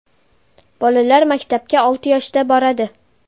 Bolalar maktabga olti yoshda boradi.